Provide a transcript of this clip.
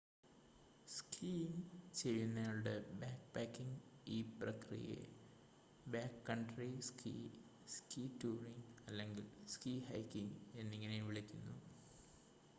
skiing ചെയ്യുന്നയാളുടെ backpacking ഈ പ്രക്രിയയെ ബാക്ക്കൺട്രി സ്കീ സ്കീ ടൂറിംഗ് അല്ലെങ്കിൽ സ്കീ ഹൈക്കിംങ് എന്നിങ്ങനെയും വിളിക്കുന്നു